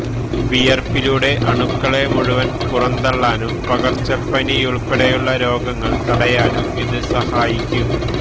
വിയര്പ്പിലൂടെ അണുക്കളെ മുഴുവന് പുറന്തള്ളാനും പകര്ച്ചപ്പതിയുള്പ്പെടെയുള്ള രോഗങ്ങള് തടയാനും ഇത് സഹായിക്കും